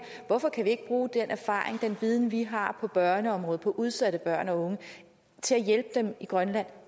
hvorfor kan vi ikke bruge den erfaring den viden vi har på børneområdet på udsatte børn og unge til at hjælpe dem i grønland